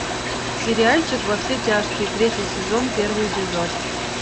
сериальчик во все тяжкие третий сезон первый эпизод